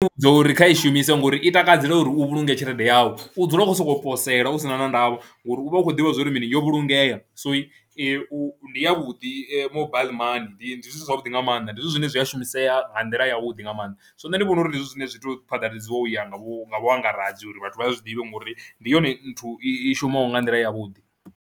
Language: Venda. Ndi dza uri kha i shumise ngori i takadzela uri u vhulungale tshelede yau, u dzula u khou sokou posela u si na na ndavha ngori u vha u khou ḓivha zwo ri mini yo vhulungea, so u ndi yavhuḓi mobile money ndi ndi zwithu zwavhuḓi nga maanḓa, ndi zwithu zwine zwi a shumisea nga nḓila yavhuḓi nga maanḓa so nṋe ndi vhona uri ndi zwithu zwine zwi tou phaḓaladziwa u ya nga vhu nga vhuangaredzi uri vhathu vha zwi ḓivhe ngori ndi yone nthu i shumaho nga nḓila yavhuḓi.